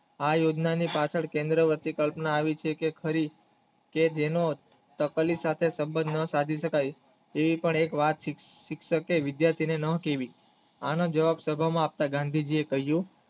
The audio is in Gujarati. આ યોજનાને પાછળ કેન્દ્રથી કલ્પના આવી છે કે જેનો ટપલી સાથે સબંધ ન સાધી શક્ય એવી પણ એક રાત થી જેને વિદ્યાર્થીને ન સીવી આનો જવાળ સભામાં આપતા ગાંધીજી એ કહ્યું